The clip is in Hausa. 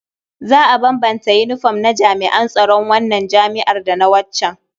Za a bambanta yinifom na jami'an tsaron wannan jami'ar da na waccan.